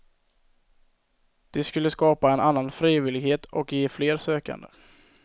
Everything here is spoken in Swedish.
Det skulle skapa en annan frivillighet och ge fler sökande.